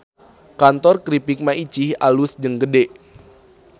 Kantor Kripik Maicih alus jeung gede